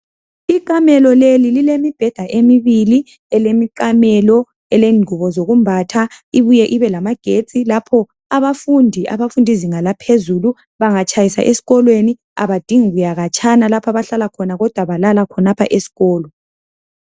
Ikamelo leli lilemibheda emibili, elemiqamelo, elengubo zokumbatha ibuye ibe lamagetsi lapho abafundi abafundi zinga laphezulu bangatshayisa esikolweni abadingi kuya khatshana lapho abahlala khona kodwa balala khonapha esikolo